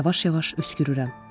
Yavaş-yavaş öskürürəm.